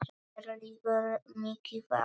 Mér liggur mikið á!